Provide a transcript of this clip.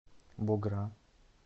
богра